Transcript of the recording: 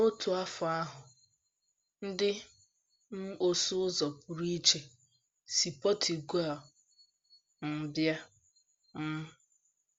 N’otu afọ ahụ, ndị um ọsụ ụzọ pụrụ iche si Portugal um bịa um.